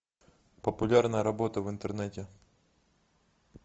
популярная работа в интернете